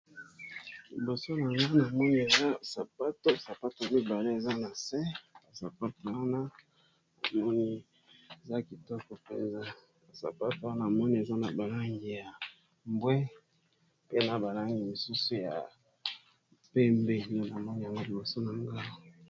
Liboso na nga na moni ea sapato sapato mibale eza na s ya sapato wana amoni eza kitoko mpenza asapato wana moni eza na balangi ya mbwe pe na balangi misusu ya pembe nonongoi yango liboso na nga.